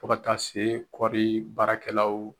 Fo ka taa se kɔɔri baarakɛlaw